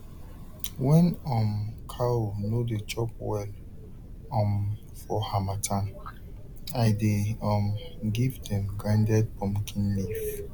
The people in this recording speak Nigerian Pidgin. when um cow no dey chop well um for harmattan i dey um give dem grinded pumpkin leaf